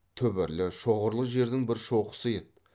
түбірлі шоғырлы жердің бір шоқысы еді